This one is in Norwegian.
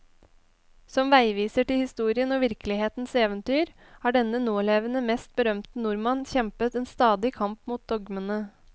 Som veiviser til historien og virkelighetens eventyr, har denne nålevende mest berømte nordmann kjempet en stadig kamp mot dogmene.